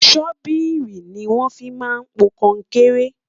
sobiìri ní wón fí má n pò konkere